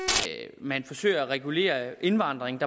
at man forsøger at regulere indvandringen